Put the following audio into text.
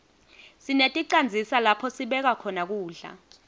sineticandzisa lapho sibeka khona kudla